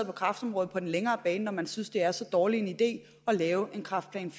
på kræftområdet på den længere bane når man synes det er så dårlig en idé at lave en kræftplan